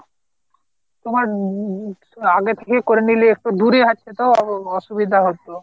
তোমার উম উম আগে থেকে করে নিলে একটু দূরে হচ্ছে তো অসুবিধা হত।